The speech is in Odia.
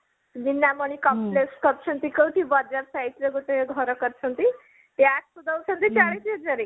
ସେ ଆମର complex କରିଛନ୍ତି କୋଉଠି ବଜାର side ରେ ଗୋଟେ ଘର କରିଛନ୍ତି ୟାକୁ ଦଉଛନ୍ତି ଚାଳିଶ ହଜାରେ